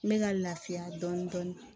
N bɛ ka lafiya dɔɔnin dɔɔnin